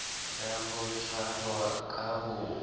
ya ho tshwarwa ka ho